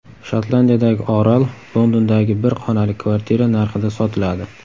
Shotlandiyadagi orol Londondagi bir xonali kvartira narxida sotiladi.